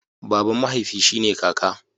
Baban mahaifi shi ne kaka.